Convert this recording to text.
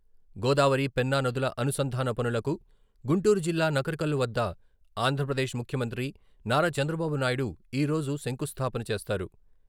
గోదావరి, పెన్నా నదుల అనుసంధాన పనులకు గుంటూరు జిల్లా నకరికల్లు వద్ద ఆంధ్రప్రదేశ్ ముఖ్యమంత్రి నారా చంద్రబాబు నాయడు ఈరోజు శంకుస్థాపన చేస్తారు.